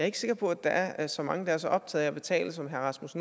ikke sikker på at der er så mange der er så optaget af at betale som herre rasmus